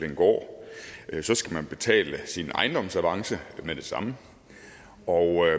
en gård så skal betale sin ejendomsavance med det samme og